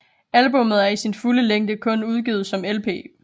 Albummet er i sin fulde længde kun udgivet som LP